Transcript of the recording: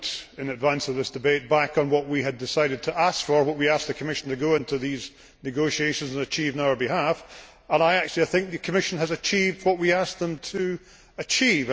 In advance of this debate, I looked back on what we had decided to ask for what we asked the Commission to go into in these negotiations and achieve on our behalf and I actually think the Commission has achieved what we asked them to achieve.